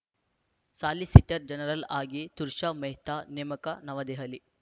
solicitor general ಆಗಿ ತುಷಾರ್‌ ಮೆಹ್ತಾ ನೇಮಕ ನವದೆಹಲಿ